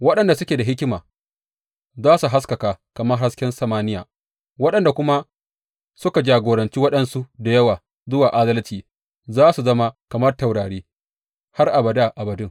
Waɗanda suke da hikima za su haskaka kamar hasken samaniya, waɗanda kuma suka jagoranci waɗansu da yawa zuwa adalci, za su zama kamar taurari har abada abadin.